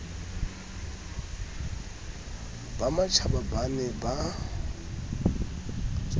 ba mashaba ba ne ba